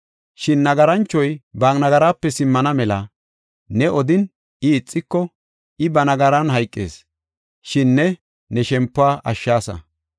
Shin nagaranchoy ba nagaraape simmana mela ne odin, I ixiko, I ba nagaran hayqees; shin ne ne shempuwa ashshaasa.”